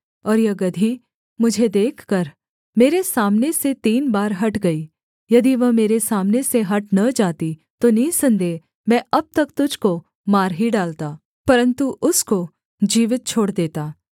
और यह गदही मुझे देखकर मेरे सामने से तीन बार हट गई यदि वह मेरे सामने से हट न जाती तो निःसन्देह मैं अब तक तुझको मार ही डालता परन्तु उसको जीवित छोड़ देता